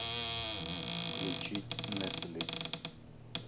включить нэссли